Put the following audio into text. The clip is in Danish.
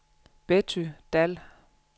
Betty Dall